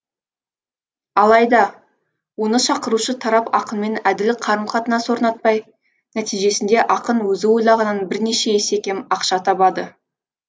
алайда оны шақырушы тарап ақынмен әділ қарым қатынас орнатпай нәтижесінде ақын өзі ойлағанынан бірнеше есе кем ақша табады